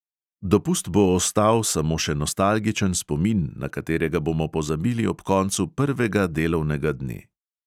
Dopust bo ostal samo še nostalgičen spomin, na katerega bomo pozabili ob koncu prvega delovnega dne.